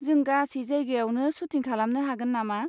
जों गासै जायगायावनो सुटिं खालामनो हागोन नामा?